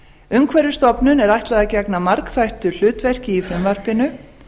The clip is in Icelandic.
umhverfisstofnun er ætlað að gegna margþættu hlutverki í frumvarpinu